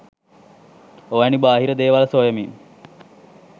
ඔවැනි බාහිර දේවල් සොයමින්